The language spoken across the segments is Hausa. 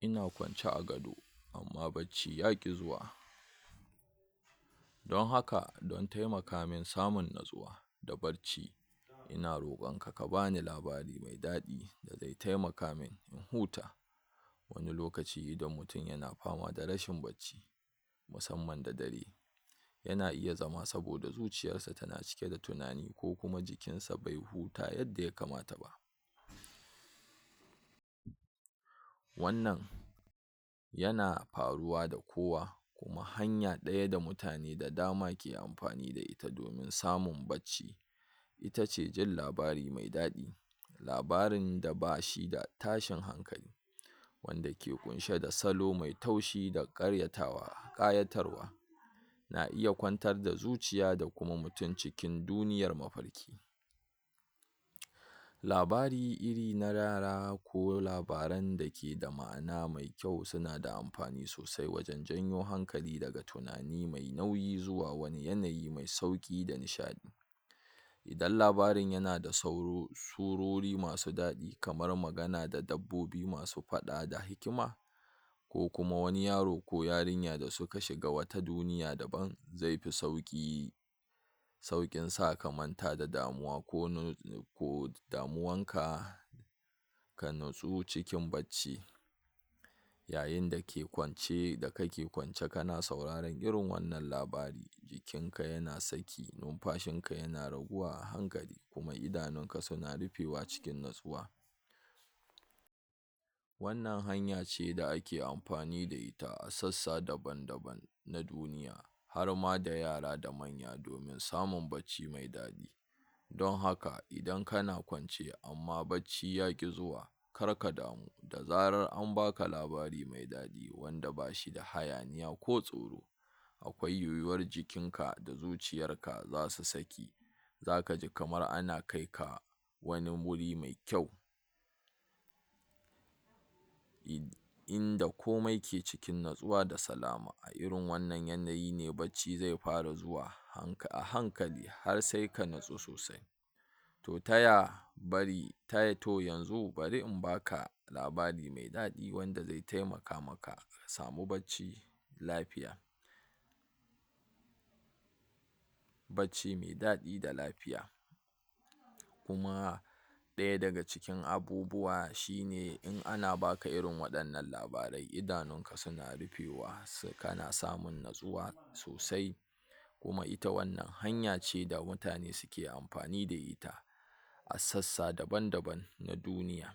Ina kwance a gado amma bacci yaƙi zuwa, don haka don taimakin samun natsuwa da barci ina roƙonka ka bani labari me daɗi, da zai taimaka min in huta, wani lokaci idan mutin yana fama da rashin bacci, musamman da dare yana iya zama saboda zuciyassa tana cike da tunani ko kuma jikinsa bai huta yadda yakamata ba, wannan yana faruwa da kowa hanya ɗaya da mutane da dama ke amfani da ita domin samun bacci ita ce jin labari mai daɗi labarin da ba shi da tashin hankali, wanda ke ƙunshe da salo mai taushi da ƙaryatawa ƙayatarwa, na iya kwantar da zuciya da kuma mutin cikin duniyar mafarki, labari irin na yara ko labaran da keda ma'ana mai kyau suna da amfani sosai wajen janyo hakali daga tunani mai nauyi zuwa wani lokaci mai sauƙi da nishaɗi, idan labarin yana da sauro surori masu daɗi kamar magana da dabbobi masu faɗa da hikima, ko kuma wani yaro ko yarinya da suka shiga wata duniya daban ze fi sauƙi sauƙin sa ka manta da damuwa ko damuwanka ka natsu cikin bacci, yayin da ke kwance da kake kwance kana sauraran irin wannan labari, jikinka yana saki numfashinka yana raguwa a hankali kuma idanunka suna rufewa cikin natsuwa, wannan hanya ce da ake amfani da ita a sassa daban daban na duniya, harma da yara da manya domin samun bacci mai daɗi, don haka idan kana kwance amma bacci yaƙi zuwa karka damu da zarar an baka labari me daɗi wanda ba shi da hayaniya ko tsoro, akwai yiwuwar jikinka da zuciyarka zasu saki zaka ji kamar ana kai ka wani wuri me kyau, inda komai ke cikin natsuwa da salama a irin wannan yanayi ne bacci ze fara zuwa hanka a hankali har sai ka natsu sosai to taya bari tai to yanzu bari in baka labari me daɗi wanda ze taimaka maka ka samu bacci lafiya bacci me daɗi da lafiya, kuma ɗaya daga cikin abubuwa shine in ana baka irin waɗannan labarai idanunka suna rufewa so kana samun natsuwa sosai, kuma ita wannan hanya ce da mutane sike amfani da ita a sassa daban daban na duniya,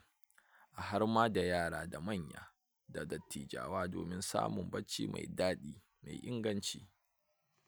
harma da yara da manya, da dattijawa domin samun bacci mai daɗi me inganci.